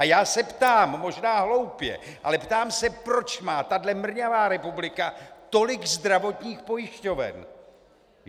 A já se ptám, možná hloupě, ale ptám se, proč má tahle mrňavá republika tolik zdravotních pojišťoven.